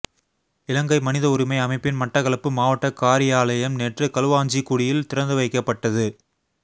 இலங்கை மனித உரிமை அமைப்பின் மட்டக்களப்பு மாவட்டக் காரியாலயம் நேற்று களுவாஞ்சிகுடியில் திறந்து வைக்கப்பட்டது